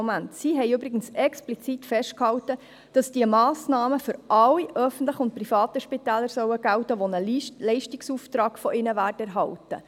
Sie haben explizit festgehalten, diese Massnahme solle für alle öffentlichen und privaten Spitäler gelten, die von ihnen einen Leistungsauftrag erhielten.